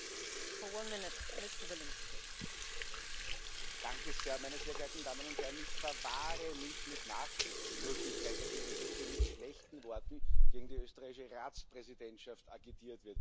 Frau Präsidentin, meine sehr geehrten Damen und Herren! Ich verwahre mich mit Nachdrücklichkeit dagegen, dass hier mit schlechten Worten gegen die österreichische Ratspräsidentschaft agitiert wird.